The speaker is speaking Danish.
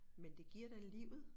Men det giver da livet